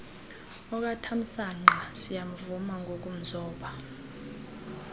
okatamsanqa siyamvuma ngokumzoba